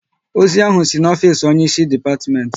Ozi ahụ si n'ofisi onye ịsị depatiment